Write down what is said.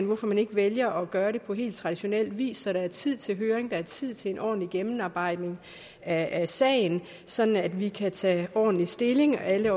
hvorfor man ikke vælger at gøre det på helt traditionel vis så der er tid til høring og tid til en ordentlig gennemarbejdning af sagen sådan at vi kan tage ordentlig stilling og alle